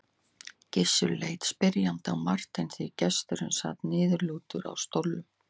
Gizur leit spyrjandi á Martein því gesturinn sat niðurlútur á stólnum.